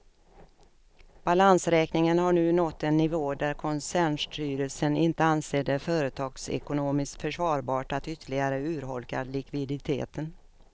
Balansräkningen har nu nått en nivå där koncernstyrelsen inte anser det företagsekonomiskt försvarbart att ytterligare urholka likviditeten.